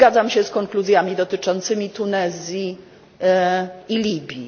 Zgadzam się z konkluzjami dotyczącymi Tunezji i Libii.